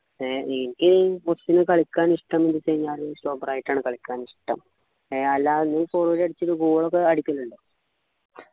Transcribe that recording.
എനിക്ക് കുറച്ചു കളിക്കാൻ ഇഷ്ടം ചോദിച്ചു കഴിഞ്ഞാല് stopper ആയിട്ടാണ് കളിക്കാൻ ഇഷ്ടം ഏർ അല്ലാ നീ forward കളിച്ചിട്ട് goal ഒക്കെ അടിക്കുന്നുണ്ടോ